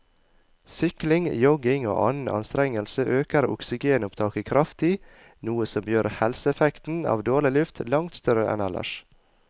Sykling, jogging og annen anstrengelse øker oksygenopptaket kraftig, noe som gjør helseeffekten av dårlig luft langt større enn ellers.